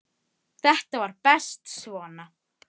Hafið leikinn að nýju.